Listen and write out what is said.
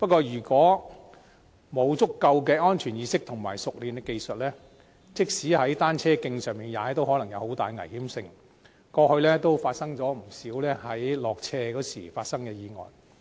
如果沒有足夠的安全意識和熟練的技術，即使是在單車徑上踏單車，也可能有很大危險性，過去亦曾發生不少單車落斜時的意外。